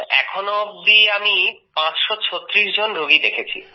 এখন অবধি আমি ৫৩৬ জন রোগী দেখেছি